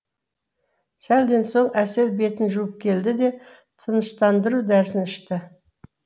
сәлден соң әсел бетін жуып келді де тыныштандыру дәрісін ішті